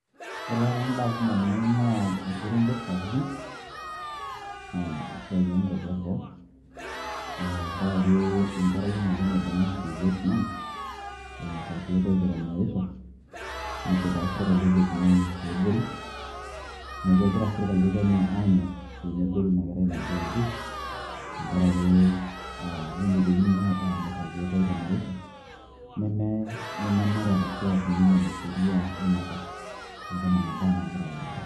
Ore taata imbaa kumok naing'ua orkerenket sapukin, na esiai okwapi eboo. Ah tenkaraki enkerai ng'ole naibung'aki te Vietnam, emirita irkeek oitemerisho, nejo naa sirkali e Vietnam pegori. Neeku egira sirkali e kenya aanyok pemehori inakerai naji Wambui, tenkaraki ah pe inepuaki inye emirita irkeek oitemerisho, neme nemenare ashu aa kinyume na sheria inakop. Neeku nena baa nagira aiendelea.